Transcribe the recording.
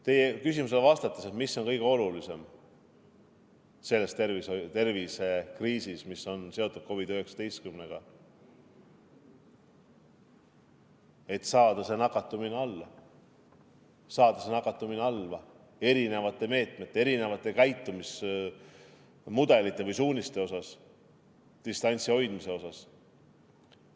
Teie küsimusele, mis on kõige olulisem selles tervisekriisis, mis on seotud COVID-19-ga, vastan: saada nakatumine alla, saada see nakatumine alla eri meetmete, käitumismudelite või suuniste ja distantsi hoidmise kaudu.